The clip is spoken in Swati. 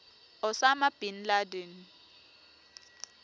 osama bin laden